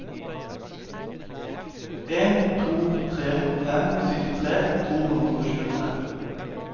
en to tre fem syttitre to hundre og tjuetre